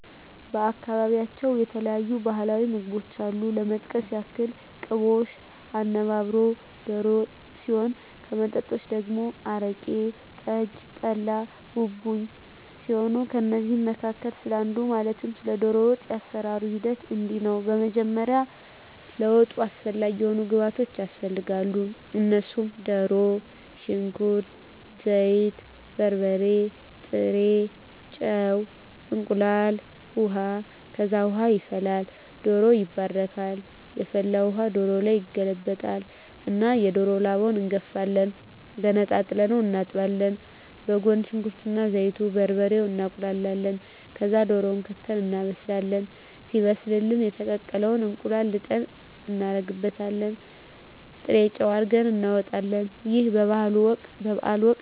በአካባቢያቸው የተለያዩ ባህላዊ ምግቦች አሉ ለመጥቀስ ያክል ቅቦሽ፣ አነባበሮ፣ ዶሮ ወጥ ሲሆን ከመጠጦች ደግሞ አረቂ፣ ጠጅ፣ ጠላ፣ ቡቡኝ ሲሆኑ ከእነዚህ መካከል ስለ አንዱ ማለትም ስለ ዶሮ ወጥ የአሰራሩ ሂደት እንዲህ ነው በመጀመሪያ ለወጡ አስፈላጊ የሆኑ ግብዓቶች ያስፈልጋሉ እነሱም ድሮ፣ ሽንኩርት፣ ዘይት፣ በርበሬ፣ ጥሬ ጨው፣ እንቁላል፣ ውሀ፣ ከዛ ውሃ ይፈላል ዶሮው ይባረካል የፈላውን ውሀ ዶሮው ላይ ይገለበጣል እና የዶሮውን ላባ እንጋፍፋለን ገነጣጥለን እናጥባለን በጎን ሽንኩርት እና ዘይቱን፣ በርበሬውን እናቁላላለን ከዛ ድሮውን ከተን እናበስላለን ሲበስልልን የተቀቀለ እንቁላል ልጠን እናረግበታለን ጥሬጨው አርገን እናወጣለን ይህ በበዓል ወቅት ይደረጋል።